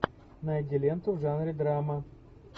найди ленту в жанре драма